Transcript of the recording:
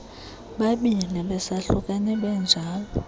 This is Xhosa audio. babini besahlukene benjalo